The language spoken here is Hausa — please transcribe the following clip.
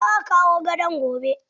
Za a kawo gadon gobe.